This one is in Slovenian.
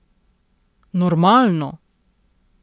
Normalno!